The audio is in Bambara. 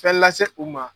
Fɛn lase u ma